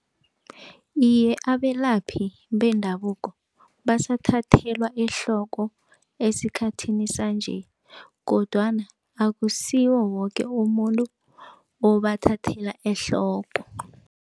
Iye, abelaphi bendabuko basathathelwa ehloko esikhathini sanje kodwana akusiwo woke umuntu obathathela ehloko.